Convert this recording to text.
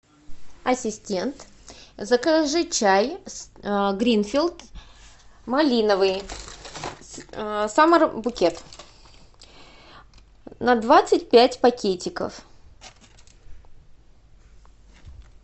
ассистент закажи чай гринфилд малиновый саммер букет на двадцать пять пакетиков